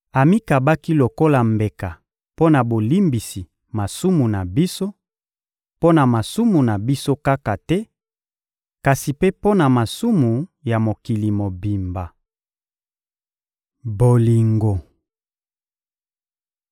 Amikabaki lokola mbeka mpo na bolimbisi masumu na biso; mpo na masumu na biso kaka te, kasi mpe mpo na masumu ya mokili mobimba. Bolingo